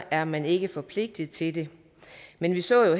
er man ikke forpligtet til det men vi så